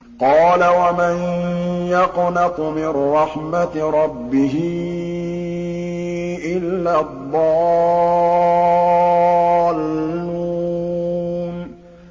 قَالَ وَمَن يَقْنَطُ مِن رَّحْمَةِ رَبِّهِ إِلَّا الضَّالُّونَ